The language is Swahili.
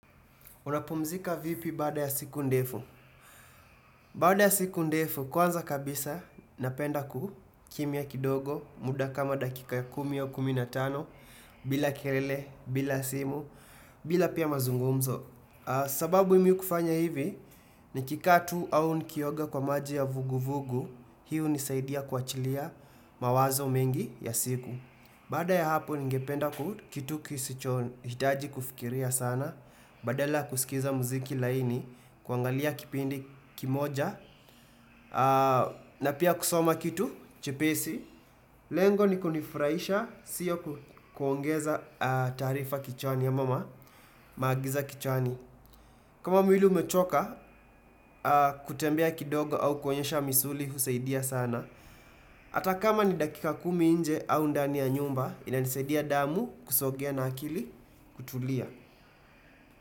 Unapumzika vipi baada ya siku ndefu? Baada ya siku ndefu kwanza kabisa napenda kukimya kidogo muda kama dakika ya kumi au kumi na tano. Bila kelele, bila simu, bila pia mazungumzo sababu mimi kufanya hivi nikikaa tu au nikioga kwa maji ya vuguvugu. Hii hunisaidia kuachilia mawazo mengi ya siku. Baada ya hapo ningependa ku kitu kisichohitaji kufikiria sana. Badala kusikiliza muziki laini, kuangalia kipindi kimoja na pia kusoma kitu, chepesi. Lengo ni kunifurahisha, siyo kuongeza taarifa kichwani ya ama ma Magiza kichwani kama mwili umechoka, kutembea kidogo au kunyoosha misuli, husaidia sana. Hata kama ni dakika kumi nje au ndani ya nyumba inanisaidia damu, kusogea na akili, kutulia.